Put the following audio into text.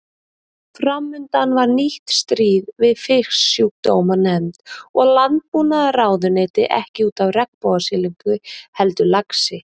Framundan var nýtt stríð við Fisksjúkdómanefnd og Landbúnaðarráðuneyti ekki út af regnbogasilungi heldur laxi.